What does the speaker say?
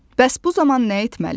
Bəs bu zaman nə etməli?